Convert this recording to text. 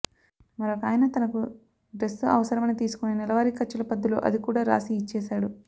మరొకాయన తనకు డ్రెస్సు అవసరమని తీసుకొని నెలవారీ ఖర్చుల పద్దులో అది కూడా రాసి ఇచ్చేశాడు